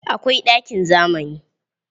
Akwai uwarɗakin zamani.